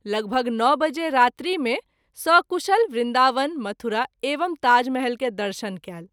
लगभग ९ बजे रात्रि मे सकुशल वृन्दावन, मथुरा एवं ताजमहल के दर्शन कएल।